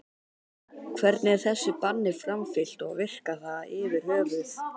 Hvernig er þessu banni framfylgt og virkar það yfir höfuð?